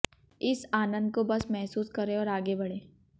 इस आनंद को बस महसूस करें और आगे बढ़ें